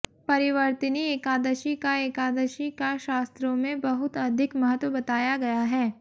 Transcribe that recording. परिवर्तिनी एकादशी का एकादशी का शास्त्रों में बहुत अधिक महत्व बताया गया है